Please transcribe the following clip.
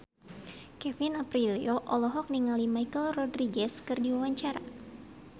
Kevin Aprilio olohok ningali Michelle Rodriguez keur diwawancara